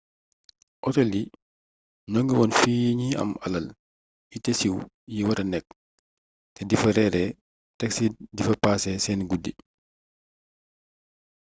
otel yii ñoo ngi woon fi ñi am alal yi te siiw yi wara nekk te difa reeree tek ci difa paase seeni guddi